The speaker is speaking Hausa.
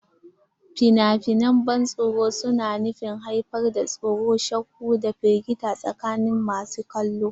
Fina-finan ban tsoro suna nufin haifar da tsoro, shakku, da firgita tsakanin masu kallo.